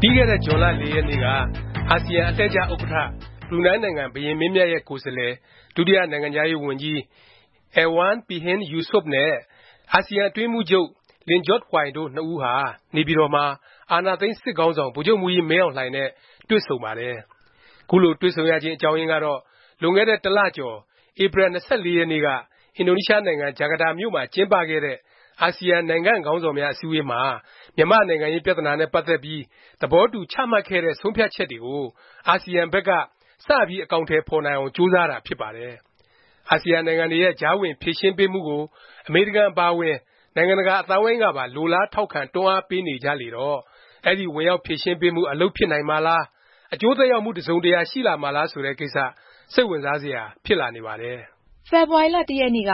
ပြီးခဲ့တဲ့ ဇွန်လ ၄ ရက်နေ့က အာဆီယံ အလှည့်ကျ ဥက္ကဌ ဘရူနိုင်းနိုင်ငံ ဘုရင်မင်းမြတ်ရဲ့ ကိုယ်စားလှယ် ဒုတိယ နိုင်ငံခြားရေးဝန်ကြီး Erywan Pehin Yusof နဲ့ အာဆီယံအတွင်းရေးမှုးချုပ် Lim Jock Hoi တို့ ၂ ဦးဟာ နေပြည်တော်မှာ အာဏာသိမ်း စစ်ခေါင်းဆောင် ဗိုလ်ချုပ်မှူးကြီး မင်းအောင်လှိုင်နဲ့ တွေ့ဆုံပါတယ်။ ခုလို တွေ့ဆုံရခြင်း အကြောင်းရင်းကတော့ လွန်ခဲ့တဲ့ တစ်လ ကျော် ဧပြီ ၂၄ ရက်နေ့က အင်ဒိုနီးရှားနိုင်ငံ ဂျာကာတာမြို့မှာ ကျင်းပခဲ့တဲ့ အာဆီယံ နိုင်ငံ့ခေါင်းဆောင်များ အစည်းအဝေးမှာ မြန်မာ့နိုင်ငံရေး ပြသနာနဲ့ ပတ်သက်ပြီး သဘောတူ ချမှတ်ခဲ့တဲ့ ဆုံးဖြတ်ချက်တွေကို အာဆီယံဘက်က စပြီး အကောင်အထည် ဖော်နိုင်အောင် ကြိုးစားတာ ဖြစ်ပါတယ်။ အာဆီယံနိုင်ငံတွေရဲ့ ကြားဝင် ဖြေရှင်းပေးမှုကို အမေရိကန် အပါအဝင် နိုင်ငံတကာ အသိုင်းအဝိုင်းကပါ လိုလား ထောက်ခံ၊ တွန်းအားပေးနေကြလေတော့ အဲဒီ ဝင်ရောက် ဖြေရှင်းပေးမှု အလုပ်ဖြစ်နိုင်မှာလား၊ အကျိုးသက်ရောက်မှု တစ်စုံတရာ ရှိလာမှာလား ဆိုတဲ့ ကိစ္စ စိတ်ဝင်စားစရာ ဖြစ်လာနေပါတယ်။ ဖေဖေါ်ဝါရီ ၁ ရက်နေ့က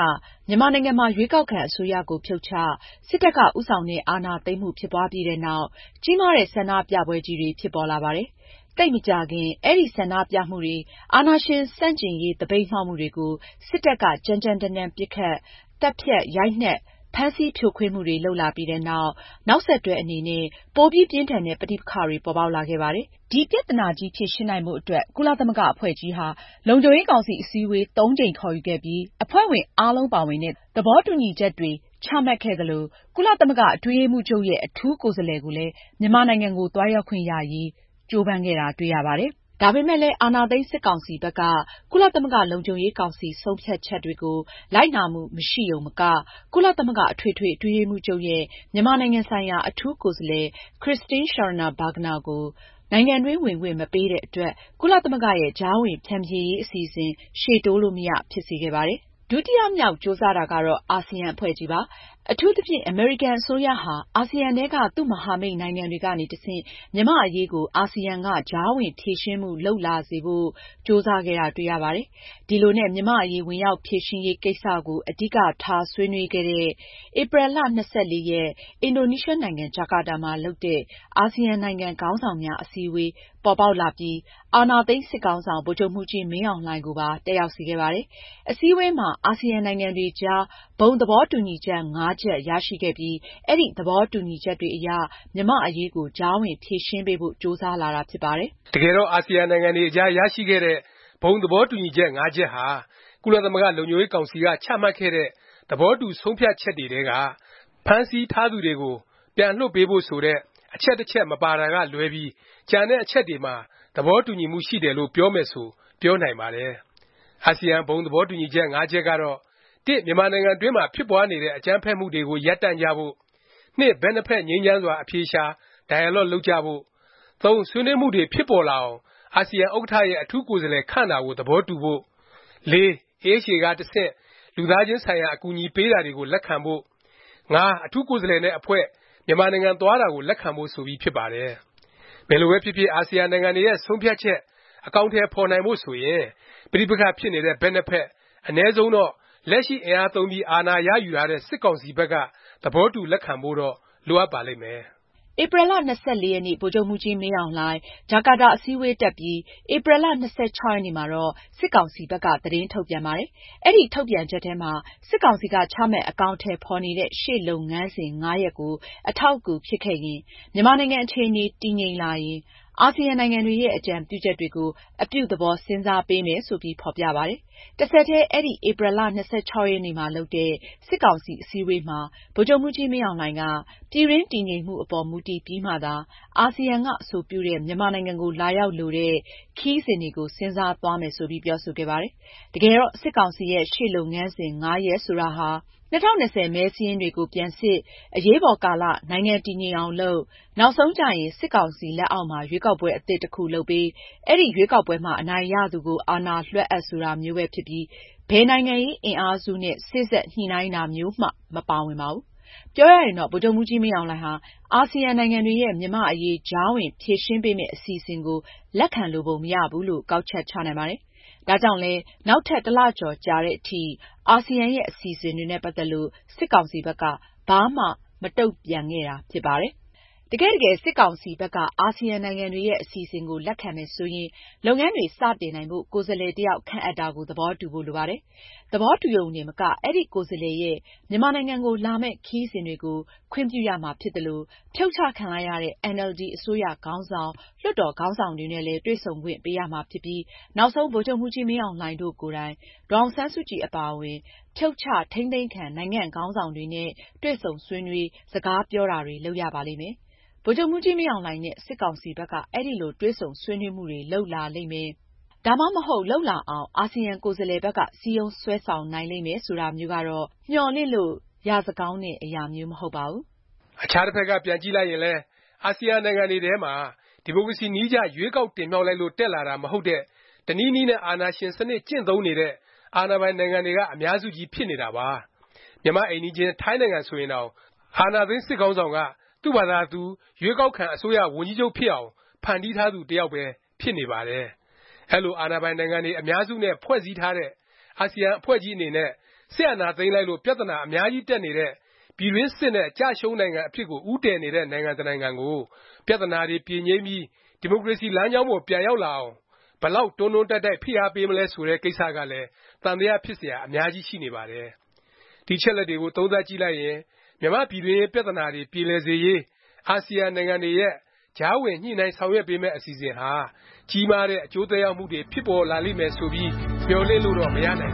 မြန်မာနိုင်ငံမှာ ရွေးကောက်ခံ အစိုးရကို ဖြုတ်ချ၊ စစ်တပ်က ဦးဆောင်တဲ့ အာဏာသိမ်းမှု ဖြစ်ပွားပြီးနောက် ကြီးမားတဲ့ ဆန္ဒပြပွဲကြီးတွေ ဖြစ်ပေါ်လာပါတယ်။ သိပ်မကြာခင် အဲဒီ ဆန္ဒပြမှုတွေ၊ အာဏာရှင် ဆန့်ကျင်ရေး သပိတ်မှောက်မှုတွေကို စစ်တပ်က ကြမ်းကြမ်းတမ်းတမ်း ပစ်ခတ်၊ သတ်ဖြတ်၊ ရိုက်နှက်၊ ဖမ်းဆီး ဖြိုခွင်းမှုတွေ လုပ်လာပြီးနောက် နောက်ဆက်တွဲအနေနဲ့ ပိုပြီး ပြင်းထန်တဲ့ ပဋိပက္ခတွေ ပေါ်ပေါက်လာခဲ့ပါတယ်။ ဒီပြသနာကြီး ဖြေရှင်းနိုင်ဖို့ အတွက် ကုလသမဂ္ဂ အဖွဲ့ကြီးဟာ လုံခြုံရေးကောင်စီ အစည်းအဝေး ၃ ကြိမ် ခေါ်ယူခဲ့ပြီး အဖွဲ့ဝင် အားလုံးပါဝင်တဲ့ သဘောတူညီချက်တွေ ချမှတ်ခဲ့သလို ကုလသမဂ္ဂအတွင်းရေးမှူးချုပ် အထူးကိုယ်စားလှယ် ကိုလည်း မြန်မာနိုင်ငံကိုသွားရောက်ခွင့်ရရေး ကြိုးပမ်းခဲ့တာ တွေ့ရပါတယ်။ ဒါပေမယ့်လည်း အာဏာသိမ်း စစ်ကောင်စီဘက်က ကုလသမဂ္ဂ လုံခြုံရေးကောင်စီ ဆုံးဖြတ်ချက်တွေကို လိုက်နာမှု မရှိရုံမက၊ ကုလသမဂ္ဂ အထွေထွေ အတွင်းရေးမှုးချုပ်ရဲ့ မြန်မာနိုင်ငံဆိုင်ရာ အထူးကိုယ်စားလှယ် Christine Schraner Burgenerကို နိုင်ငံတွင်း ဝင်ခွင့် မပေးတဲ့အတွက် ကုလသမဂ္ဂရဲ့ ကြားဝင် ဖြန်ဖြေရေး အစီအစဉ် ရှေ့တိုးလို့မရ ဖြစ်စေခဲ့ပါတယ်။ ဒုတိယမြောက် ကြိုးစားတာကတော့ အာဆီယံ အဖွဲ့ကြီးပါ။ အထူးသဖြင့် အမေရိကန်နိုင်ငံ အစိုးရဟာ အဆီယံထဲက သူ့မဟာမိတ်နိုင်ငံတွေကနေ တဆင့် မြန်မာ့အရေးကို အာဆီယံက ကြားဝင် ဖြေရှင်းမှု လုပ်လာစေဖို့ ကြိုးစားခဲ့တာ တွေ့ရပါတယ်။ ဒီလိုနဲ့ မြန်မာ့အရေး ဝင်ရောက်ဖြေရှင်းရေး ကိစ္စကို အဓိကထား ဆွေးနွေးတဲ့ ဧပြီ ၂၄ ရက်၊ အင်ဒိုနီးရှားနိုင်ငံ ဂျာကာတာမှာ လုပ်တဲ့ အာဆီယံနိုင်ငံ ခေါင်းဆောင်များ အထူးအစည်းအဝေး ပေါ်ပေါက်လာပြီး အာဏာသိမ်း စစ်ခေါင်းဆောင် ဗိုလ်ချုပ်မှူးကြီး မင်းအောင်လှိုင်ကိုပါ တက်ရောက်စေခဲ့ပါတယ်။ အစည်းအဝေးမှာ အာဆီယံ နိုင်ငံတွေအကြား ဘုံ သဘောတူညီချက်(၅) ချက် ရရှိခဲ့ပြီး အဲဒီ သဘောတူညီချက်တွေအရ မြန်မာ့အရေးကို ကြားဝင် ဖြေရှင်းပေးဖို့ ကြိုးစားလာတာ ဖြစ်ပါတယ်။ တကယ်တော့ အာဆီယံနိုင်ငံတွေအကြား ရရှိခဲ့တဲ့ ဘုံသဘောတူညီချက် ၅ ချက်ဟာ ကုလသမဂ္ဂ လုံခြုံရေးကောင်စီက ချမှတ်ခဲ့တဲ့ သဘောတူ ဆုံးဖြတ်ချက်တွေထဲက ဖမ်းဆီးထားသူတွေကို ပြန်လွှတ်ပေးဖို့ ဆိုတဲ့ အချက် တစ်ချက် မပါတာကလွဲပြီး ကျန်တဲ့ အချက်တွေမှာ တူညီမှုရှိတယ်လို့ ပြောမယ်ဆို ပြောနိုင်ပါတယ်။ အာဆီယံ ဘုံသဘောတူညီချက် ၅ ချက်ကတော့ (၁) မြန်မာနိုင်ငံတွင်းမှာ ဖြစ်ပွားနေတဲ့ အကြမ်းဖက်မှုတွေကို ရပ်တန့်ကြဖို့ (၂) ဘက်နှစ်ဖက် ငြိမ်းချမ်းစွာ အဖြေရှာ၊ dialogue လုပ်ကြဖို့ (၃) ဆွေးနွေးမှုတွေ ဖြစ်ပေါ်လာအောင် အာဆီယံ ဥက္ကဌရဲ့ အထူးကိုယ်စားလှယ် ခန့်တာကို သဘောတူဖို့ (၄) AHA က တဆင့် လူသားချင်းဆိုင်ရာ အကူအညီ ပေးတာတွေကို လက်ခံဖို့ (၅) အထူးကိုယ်စားလှယ်နဲ့ အဖွဲ့ မြန်မာနိုင်ငံ သွားတာကို လက်ခံဖို့ ဆိုပြီးဖြစ်ပါတယ်။ ဘယ်လိုပဲဖြစ်ဖြစ် အာဆီယံနိုင်ငံတွေရဲ့ ဆုံးဖြတ်ချက် အကောင်အထည် ဖော်နိုင်ဖို့ ဆိုရင် ပဋိပက္ခ ဖြစ်နေတဲ့ ဘက်နှစ်ဖက်၊ အနည်းဆုံးတော့ လက်ရှိ အင်အားသုံးပြီး အာဏာရယူထားတဲ့ စစ်ကောင်စီဘက်က သဘောတူ လက်ခံဖို့တော့ လိုအပ်ပါလိမ့်မယ်။ ဧပြီလ ၂၄ ရက်၊ ဗိုလ်ချုပ်မှူးကြီး မင်းအောင်လှိုင် ဂျာကာတာ အစည်းအဝေးတက်ပြီး ဧပြီလ ၂၆ ရက်နေ့မှာတော့ စစ်ကောင်စီဘက်က သတင်းထုတ်ပြန်ပါတယ်။ အဲဒီ ထုတ်ပြန်ချက်ထဲမှာ စစ်ကောင်စီက ချမှတ် အကောင်အထည်ဖော်နေတဲ့ ရှေ့လုပ်ငန်းစဉ် ၅ ရပ်ကို အထောက်အကူဖြစ်ခဲ့ရင်၊ မြန်မာနိုင်ငံ အခြေအနေ တည်ငြိမ်လာရင် အာဆီယံနိုင်ငံတွေရဲ့ အကြံပြုချက်တွေကို “ အပြုသဘော စဉ်းစားပေးမယ်” ဆိုပြီး ဖော်ပြပါတယ်။ တဆက်တည်း အဲဒီ ဧပြီလ ၂၆ ရက်နေ့မှာလုပ်တဲ့ စစ်ကောင်စီ အစည်းအဝေးမှာ ဗိုလ်ချုပ်မှူးကြီး မင်းအောင်လှိုင်က ပြည်တွင်း တည်ငြိမ်မှုအပေါ် မူတည်ပြီးမှသာ အာဆီယံက အဆိုပြုတဲ့ မြန်မာနိုင်ငံကို လာရောက်လိုတဲ့ ခရီးစဉ်တွေကို စဉ်းစားသွားမယ် ဆိုပြီး ပြောဆိုခဲ့ပါတယ်။ တကယ်တော့ စစ်ကောင်စီရဲ့ ရှေ့လုပ်ငန်းစဉ် ၅ ရပ် ဆိုတာဟာ ၂၀၂၀ မဲစာရင်းတွေကို ပြန်စစ်၊ အရေးပေါ်ကာလ နိုင်ငံ တည်ငြိမ်အောင်လုပ်၊ နောက်ဆုံးကျရင် စစ်ကောင်စီ လက်အောက်မှာ ရွေးကောက်ပွဲ အသစ် တစ်ခု လုပ်ပေး၊ အဲဒီ ရွေးကောက်ပွဲမှာ အနိုင်ရသူကို အာဏာလွဲှအပ် ဆိုတာမျိုးပဲ ဖြစ်ပြီး ဘယ်နိုင်ငံရေး အင်အားစုနဲ့ စေ့စပ်ညှိနှိုင်းတာမျိုးမှ မပါဝင်ပါဘူး။ ပြောရရင်တော့ ဗိုလ်ချုပ်မှူးကြီး မင်းအောင်လှိုင်ဟာ အာဆီယံ နိုင်ငံတွေရဲ့ မြန်မာ့အရေး ကြားဝင် ဖြေရှင်းပေးမယ့် အစီအစဉ်ကို လက်ခံလိုပုံမရဘူးလို့ ကောက်ချက်ချနိုင်ပါတယ်။ ဒါကြောင့်လည်း နောက်ထပ် တစ်လကျော် ကြာသည်အထိ အာဆီယံရဲ့ အစီအစဉ်တွေနဲ့ ပတ်သက်ပြီး စစ်ကောင်စီဘက်က ဘာမှ မတုန့်ပြန်ခဲ့တာ ဖြစ်ပါတယ်။ တကယ့်တကယ် စစ်ကောင်စီဘက်က အာဆီယံနိုင်ငံတွေရဲ့ အစီအစဉ်ကို လက်ခံမယ် ဆိုရင် လုပ်ငန်းတွေ စတင်နိုင်ဖို့ ကိုယ်စားလှယ် တစ်ယောက် ခန့်အပ်တာကို သဘောတူဖို့ လိုပါတယ်။ သဘောတူရုံတင်မက အဲဒီ ကိုယ်စားလှယ်ရဲ့ မြန်မာနိုင်ငံကိုလာမယ့် ခရီးစဉ်တွေကို ခွင့်ပြုရမှာဖြစ်သလို၊ ဖြုတ်ချခံလိုက်ရတဲ့ အင်န်အယ်လ်ဒီ အစိုးရခေါင်းဆောင်၊ လွှတ်တော် ခေါင်းဆောင်တွေနဲ့လည်း တွေ့ဆုံခွင့် ပေးရမှာဖြစ်ပြီး၊ နောက်ဆုံး ဗိုလ်ချုပ်မှူးကြီး မင်းအောင်လှိုင်တို့ကိုယ်တိုင် ဒေါ်အောင်ဆန်းစုကြည် အပါအဝင် ဖြုတ်ချ၊ ထိန်းသိမ်းခံ နိုင်ငံ့ခေါင်းဆောင်တွေနဲ့ တွေ့ဆုံဆွေးနွေး၊ စကားပြောတာတွေ လုပ်ရပါလိမ့်မယ်။ ဗိုလ်ချုပ်မှူးကြီး မင်းအောင်လှိုင်နဲ့ စစ်ကောင်စီဘက်က အဲလို တွေ့ဆုံဆွေးနွေး မှုတွေ လုပ်လာလိမ့်မယ်၊ ဒါမှမဟုတ် လုပ်လာအောင် အာဆီယံ ကိုယ်စားလှယ်ဘက်က စည်းရုံးဆွဲဆောင်နိုင်လိမ့်မယ် ဆိုတာမျိုးကတော့ မျှော်လင့်လို့ ရစကောင်းတဲ့ အရာမျိုး မဟုတ်ပါဘူး။ အခြားတစ်ဖက်က ပြန်ကြည့်လိုက်ရင်လည်း အာဆီယံနိုင်ငံတွေထဲမှာ ဒီမိုကရေစီနည်းကျ ရွေးကောက်တင်မြှောက်လို့ တက်လာတာ မဟုတ်တဲ့ တနည်းနည်းနဲ့ အာဏာရှင် စနစ် ကျင့်သုံးနေတဲ့ အာဏာပိုင်နိုင်ငံတွေက အများစုကြီး ဖြစ်နေတာပါ။ မြန်မာ့ အိမ်နီးချင်း ထိုင်းနိုင်ငံဆိုရင်တောင် အာဏာသိမ်း စစ်ခေါင်းဆောင်က သူ့ဖာသာသူ ရွေးကောက်ခံ အစိုးရ ဝန်ကြီးချုပ်ဖြစ်အောင် ဖန်တီးထားသူ တစ်ယောက်ပဲ ဖြစ်နေပါတယ်။ အဲလို အာဏာပိုင်နိုင်ငံတွေ အများစုနဲ့ ဖွဲ့စည်းထားတဲ့ အာဆီယံ အဖွဲ့ကြီးအနေနဲ့ စစ်အာဏာသိမ်းလိုက်လို့ ပြသနာ အများကြီးတက်နေတဲ့၊ ပြည်တွင်းစစ်နဲ့ ကျရှုံးနိုင်ငံ အဖြစ်ကို ဦးတည်နေတဲ့ နိုင်ငံတစ်နိုင်ငံကို ပြသနာတွေ ပြေငြိမ်းပြီး ဒီမိုကရေစီ လမ်းကြောင်းပေါ် ပြန်ရောက်လာအောင် ဘယ်လောက် တွန်းတွန်းတိုက်တိုက် ဖိအားပေးမလဲ ဆိုတဲ့ ကိစ္စကလည်း သံသယ ဖြစ်စရာ အများကြီးရှိနေပါတယ်။ ဒီအချက်အလက်တွေကို သုံးသပ်ကြည့်လိုက်ရင် မြန်မာ့ပြည်တွင်းရေး ပြသနာတွေ ပြေလည်စေရေး အာဆီယံနိုင်ငံတွေရဲ့ ကြားဝင် ညှိနှိုင်း ဆောင်ရွက်ပေးမယ့် အစီအစဉ်ဟာ ကြီးမားတဲ့ အကျိုးသက်ရောက်မှုတွေ ဖြစ်ပေါ်လာလိမ့်မယ်ဆိုပြီး မျှော်လင့်လို့တော့ မရနိုင်